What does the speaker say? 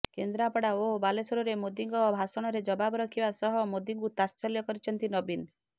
କେନ୍ଦ୍ରାପଡ଼ା ଓ ବାଲେଶ୍ୱରରେ ମୋଦିଙ୍କ ଭାଷଣର ଜବାବ ରଖିବା ସହ ମୋଦିଙ୍କୁ ତାତ୍ସଲ୍ୟ କରିଛନ୍ତି ନବୀନ